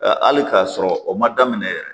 Hali k'a sɔrɔ o ma daminɛ yɛrɛ